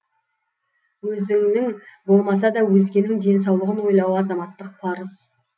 өзіңнің болмаса да өзгенің денсаулығын ойлау азаматтық парыз